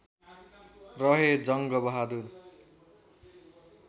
रहे जङ्ग बहादुर